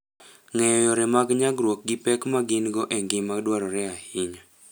Ng'eyo yore mag nyagruok gi pek ma gin go en gima dwarore ahinya.